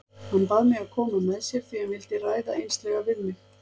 Hann bað mig að koma með sér því hann vildi ræða einslega við mig.